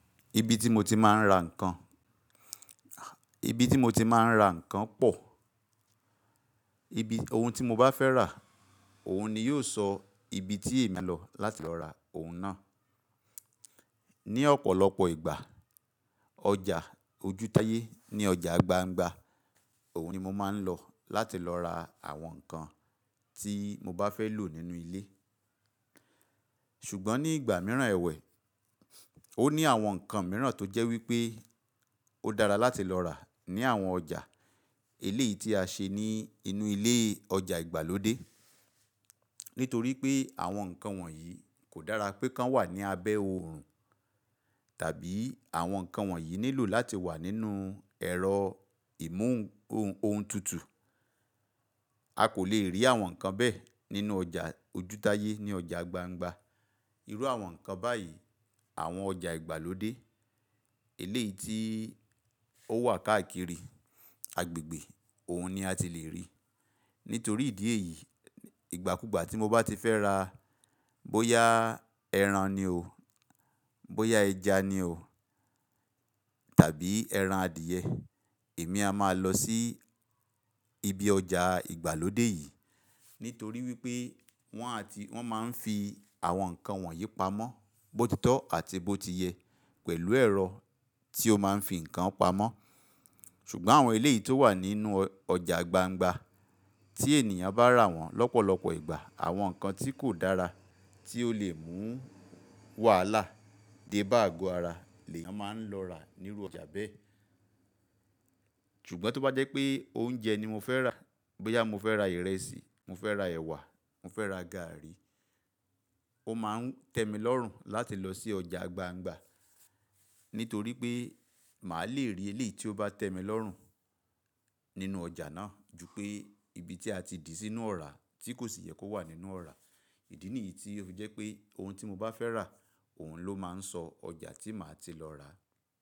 Ibi tí mo ti máa ń ra nǹkan, ibi tí mo ti máa ń ra nǹkan pọ̀. Ibi ohun tí mo bá fẹ́ rà, òun ni yóò sọ ibi tí èmi á lọ láti lọ ra ohun náà. Ni ọ̀pọ̀lọpọ̀ ìgbà, ọjà ojútáyé ní ọjà gbangba òun ni mo máa ń lọ láti lọ ra àwọn nǹkan tí mo bá fẹ́ lò nínú ilé. Ṣùgbọ́n ní ìgbà mìíràn ẹ̀wẹ̀, ó ní àwọn nǹkan mìíràn tó jẹ́ wípé ó dára láti lọ rà ní àwọn ọjà eléèyí tí a ṣe ní inú ilé ọjà ìgbàlódé. Nítorí pé àwọn nǹkan wọ̀nyí kò dára pé kan wà ní abẹ́ oòrùn tàbí àwọn nǹkan wọ̀nyí nílò láti wà nínú ẹ̀rọ ìmú ohun tutù. A kò lè rí àwọn nǹkan bẹ́ẹ̀ nínú ọjà ojútáyé ní ọjà gbangba. Irú àwọn nǹkan báyìí àwọn ọjà ìgbàlódé eléèyí tí ó wà káàkiri agbègbè òun ni a ti lè rí. Nítorí ìdí èyí ìgbàkúgbà tí mo bá ti fẹ́ ra bóyá ẹran ni o, bóyá ẹja ni o tàbí ẹran adìẹ, èmi a máa lọ sí ibi ọjà ìgbàlódé yìí. Nítorí wípé wọ́n á ti, wọ́n máa ń fi àwọn nǹkan wọ̀nyí pamọ́ bó ti tọ́ àti bó ti yẹ pẹ̀lú ẹ̀rọ tí ó máa ń fi nǹkan pamọ́. Ṣùgbọ́n àwọn ilé yìí tó wà nínú ọjà gbangba tí ènìyàn bá rà wọ́n lọ́pọ̀lọpọ̀ ìgbà àwọn nǹkan tí kò dára tí ó lè mú wàhálà dé bá àgo ara lëyăn máa ń lọ rà nínú ọjà bẹ́ẹ̀. Ṣùgbọ́n tó bá jẹ́ pé oúnjẹ ni mo fẹ́ rà, bóyá mo fẹ́ ra ìrẹsì, mo fẹ́ ra ẹwà, mo fẹ́ ra gààrí, ó máa tẹ́ mi lọ́rùn láti lọ sí ọjà gbangba. Nítorí pé màá le rí eléyìí tí ó bá tẹ́ mi lọ́rùn nínú ọjà náà ju pé ibi tí a ti dì sí inú ọ̀rá tí kò sì yẹ kó wà nínú ọ̀rá. Ìdí nìyí tí ó fi jẹ́ pé ohun tí mo bá fẹ́ rà òun ló máa ń sọ ọjà tí màá ti lọ rà.